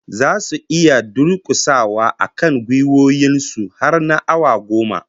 Zasu iya durkusawa akan gwiwoyin su har na awa goma?